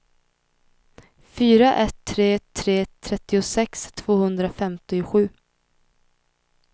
fyra ett tre tre trettiosex tvåhundrafemtiosju